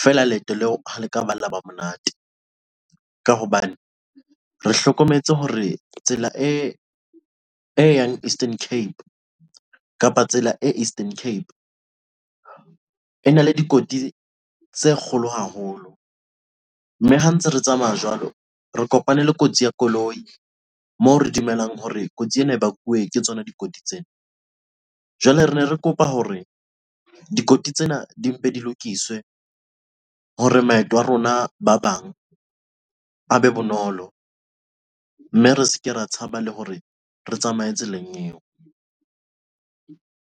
feela leeto leo ha le ka la ba monate, ka hobane re hlokometse hore tsela e yang Eastern Cape kapa tsela e Eastern Cape e na le dikotsi tse kgolo haholo mme ha ntse re tsamaya jwalo re kopane le kotsi ya koloi moo re dumelang hore kotsi ena e bakuwe ke tsona dikotsi tsena, jwale re ne re kopa hore dikoti tsena di mpe di lokiswe hore maeto a rona ba bang a be bonolo, mme re se ke ra tshaba le hore re tsamaye tseleng eo.